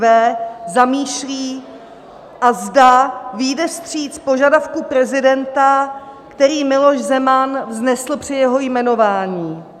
V zamýšlí a zda vyjde vstříc požadavku prezidenta, který Miloš Zeman vznesl při jeho jmenování.